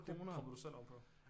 Det propper du selv oven på